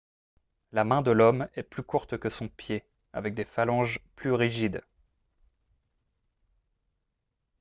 la main de l'homme est plus courte que son pied avec des phalanges plus rigides